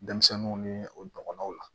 Denmisɛnninw ni o ɲɔgɔnnaw la